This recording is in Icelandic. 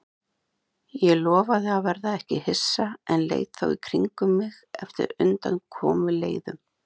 Ég lofaði að verða ekki hissa en leit þó í kringum mig eftir undankomuleiðum.